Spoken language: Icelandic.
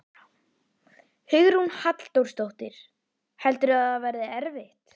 Hugrún Halldórsdóttir: Heldurðu að það verði erfitt?